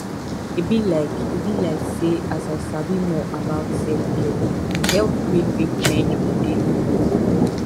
e be like e be like say as i sabi more about selfcare e help me fit change my daily hustle